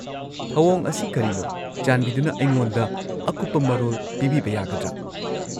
ꯊꯧꯑꯣꯡ ꯑꯁꯤ ꯀꯔꯤꯅꯣ, ꯆꯥꯟꯕꯤꯗꯨꯅ ꯑꯩꯉꯣꯟꯗ ꯑꯀꯨꯞꯄ ꯃꯔꯣꯜ ꯄꯤꯕꯤꯕ ꯌꯥꯒꯗ꯭ꯔꯥ?